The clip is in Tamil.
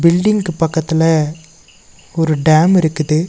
பில்டிங்க்கு பக்கத்துல ஒரு டேம் இருக்குது.